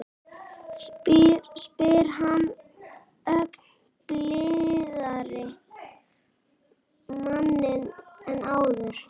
spyr hann ögn blíðari á manninn en áður.